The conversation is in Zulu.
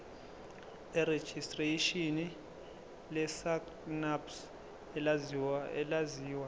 lerejistreshini lesacnasp elaziwa